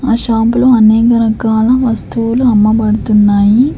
ఆ షాప్ లో అనేక రకాల వస్తువులు అమ్మబడుతున్నాయి.